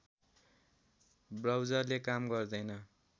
ब्राउजरले काम गर्दैन